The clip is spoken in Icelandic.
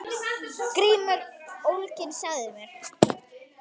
GRÍMUR: Ólyginn sagði mér.